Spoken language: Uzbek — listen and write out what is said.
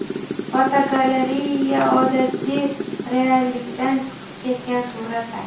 Fotogalereya: Odatiy reallikdan chiqib ketgan suratlar.